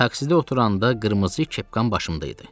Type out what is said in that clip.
Taksidə oturanda qırmızı kepkam başımda idi.